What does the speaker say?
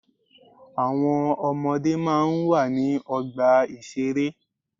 Àwọn ọmọdé máa ń wà ní ọgbà ìṣeré.